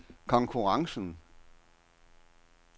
konkurrencen